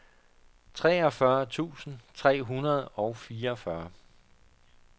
treogfyrre tusind tre hundrede og fireogfyrre